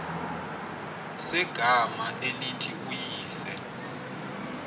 segama elithi uyise